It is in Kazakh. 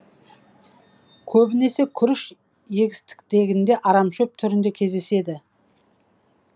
көбінесе күріш егістігінде арамшөп түрінде кездеседі